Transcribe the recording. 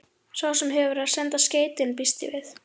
Sá sem hefur verið að senda skeytin. býst ég við.